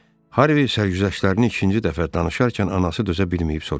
Harvi sərgüzəştlərini ikinci dəfə danışarkən anası dözə bilməyib soruşdu.